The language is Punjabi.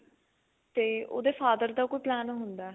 ਤੇ ਉਹਦੇ father ਦਾ ਕੋਈ plan ਹੁੰਦਾ